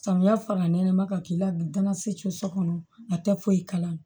Samiya fana nɛnɛma ka k'i la bi danasi so kɔnɔ a tɛ foyi kala